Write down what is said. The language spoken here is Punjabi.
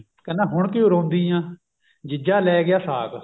ਕਹਿੰਦਾ ਹੁਣ ਕਿਉਂ ਰੋਂਦੀ ਆ ਜੀਜਾ ਲੈ ਗਿਆ ਸਾਕ